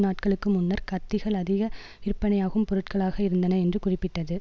நாட்களுக்கு முன்னர் கத்திகள் அதிக விற்பனையாகும் பொருட்களாக இருந்தன என்று குறிப்பிட்டது